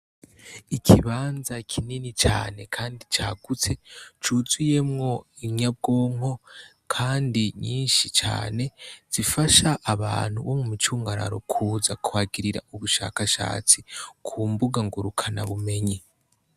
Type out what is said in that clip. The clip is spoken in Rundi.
Ikibanza kinini cane, kandi cagutse cuzuyemwo inyabwonko, kandi nyinshi cane zifasha abantu bo mu mucungararo kuza kwagirira ubushakashatsi ku mbuga ngo rukana bumenye.